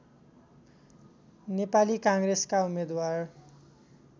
नेपाली काङ्ग्रेसका उम्मेदवार